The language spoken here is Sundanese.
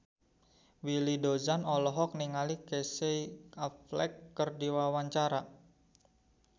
Willy Dozan olohok ningali Casey Affleck keur diwawancara